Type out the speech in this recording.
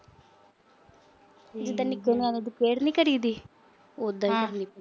ਜਿਦਾ ਨਿਕਲਣਾ ਫੇਰ ਨੀ ਕਰੀ ਦੀ। ਉਦਾਂ